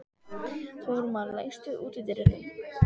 Þórmar, læstu útidyrunum.